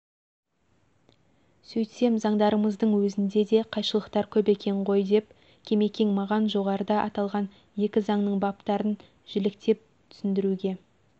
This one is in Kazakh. сөйтсем заңдарымыздың өзінде де қайшылықтар көп екен ғой деп кемекең маған жоғарыда аталған екі заңның баптарын жіліктеп түсіндіруге